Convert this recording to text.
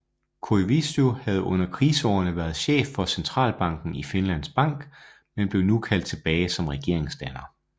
Koivisto havde under kriseårene været chef for centralbanken Finlands Bank men blev nu kaldt tilbage som regeringsdanner